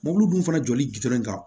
Mɔbili dun fana jɔli gidɔrɔn kan